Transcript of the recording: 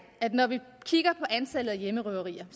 at når vi kigger på antallet af hjemmerøverier